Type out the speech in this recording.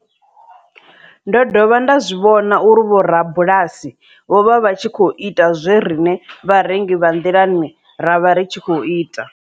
Ndo dovha nda zwi vhona uri vhorabulasi vho vha vha tshi khou ita zwe riṋe vharengi vha nḓilani ra vha ri tshi khou ita.